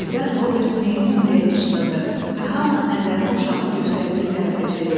Birdən Robert meymun deyə qışqırdı və hamı nəzərini uşağın göstərdiyi tərəfə çevirdi.